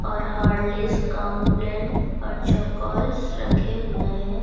और Horlicks Complan और Chocos रखे हुए हैं।